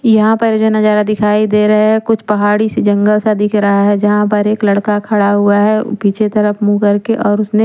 यहाँ पर जो नजारा दिखाई दे रहा है कुछ पहाड़ी सी जंगल सा दिख रहा है जहां पर एक लड़का खड़ा हुआ है पीछे की तरफ मुंह कर के और उसने --